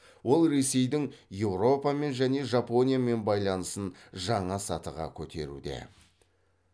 ол ресейдің еуропамен және жапониямен байланысын жаңа сатыға көтеруде